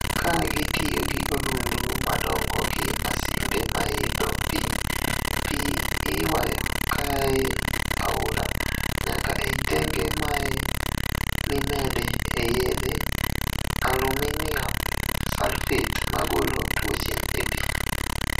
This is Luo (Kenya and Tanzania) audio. Kagitiyo gi odundu madongo gi masinde maidho pii , pii iywayo kaee aora nyaka ei tenge mae mimede e yedhe aluminium sulphate magolo tuoche e pii.